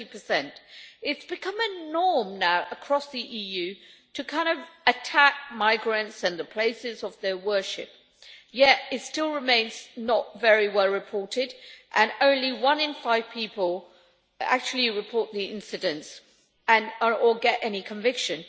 30. It has become a norm now across the EU to attack migrants and the places of their worship, yet it still remains not very well reported, and only one in five people actually report the incident or get any conviction.